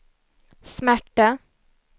smärta